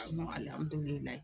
A